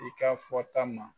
I ka fɔta ma